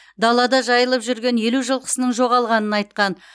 далада жайылып жүрген елу жылқысының жоғалғанын айтқан